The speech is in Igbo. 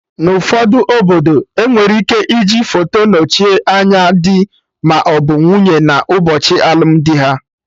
Na ụfọdụ obodo, enwere ike iji foto nochie anya dị maọbụ nwunye na ụbọchị alụmdi ha